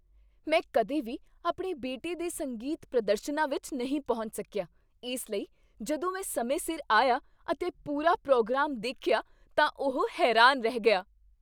ਮੈਂ ਕਦੇ ਵੀ ਆਪਣੇ ਬੇਟੇ ਦੇ ਸੰਗੀਤ ਪ੍ਰਦਰਸ਼ਨਾਂ ਵਿੱਚ ਨਹੀਂ ਪਹੁੰਚ ਸਕਿਆ, ਇਸ ਲਈ ਜਦੋਂ ਮੈਂ ਸਮੇਂ ਸਿਰ ਆਇਆ ਅਤੇ ਪੂਰਾ ਪ੍ਰੋਗਰਾਮ ਦੇਖਿਆ ਤਾਂ ਉਹ ਹੈਰਾਨ ਰਹਿ ਗਿਆ।